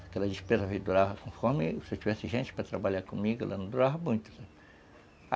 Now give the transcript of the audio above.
Aquelas despesas duravam, conforme se eu tivesse gente para trabalhar comigo, elas não duravam muito.